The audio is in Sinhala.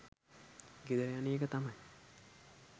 ගෙදර යන එක තමයි